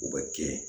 U bɛ kɛ